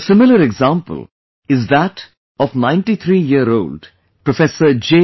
A similar example is that of 93 Ninetythree year old Professor J